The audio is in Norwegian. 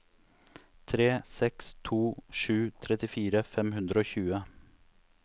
tre seks to sju trettifire fem hundre og tjue